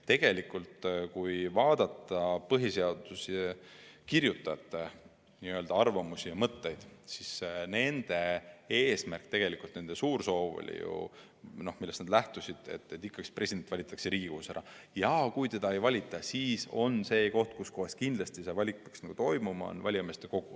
Tegelikult, kui vaadata põhiseaduse kirjutajate arvamusi ja mõtteid, siis nende eesmärk ja nende suur soov, millest nad lähtusid, oli ju see, et president valitaks ikka Riigikogus, ja kui teda siin ei valita, siis on see koht, kus kindlasti see valik peaks tehtama, valijameeste kogu.